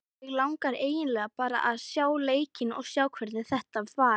Mig langar eiginlega bara að sjá leikinn og sjá hvernig þetta var.